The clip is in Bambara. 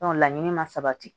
laɲini ma sabati